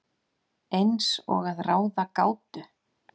Eins og að ráða gátu.